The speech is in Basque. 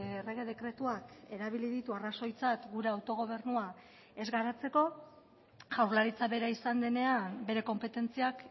errege dekretuak erabili ditu arrazoitzat gure autogobernua ez garatzeko jaurlaritza bera izan denean bere konpetentziak